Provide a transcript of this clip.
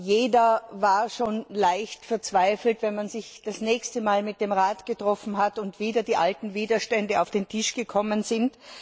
Jeder war schon leicht verzweifelt, wenn man sich das nächste Mal mit dem Rat getroffen hat, und wieder die alten Widerstände auf den Tisch gekommen sind.